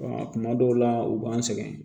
Kuma dɔw la u b'an sɛgɛn